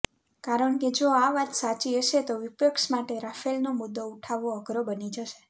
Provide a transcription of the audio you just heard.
કારણકે જો આ વાત સાચી હશે તો વિપક્ષ માટે રાફેલનો મુદ્દો ઉઠાવવો અઘરો બની જશે